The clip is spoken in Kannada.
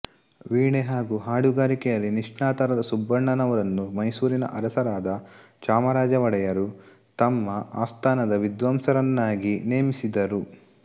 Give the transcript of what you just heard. ವೀಣೆ ಹಾಗು ಹಾಡುಗಾರಿಕೆಯಲ್ಲಿ ನಿಷ್ಣಾತರಾದ ಸುಬ್ಬಣ್ಣನವರನ್ನು ಮೈಸೂರಿನ ಅರಸರಾದ ಚಾಮರಾಜ ಒಡೆಯರು ತಮ್ಮ ಆಸ್ತಾನದ ವಿದ್ವಾಂಸರನ್ನಾಗಿ ನೇಮಿಸಿದರು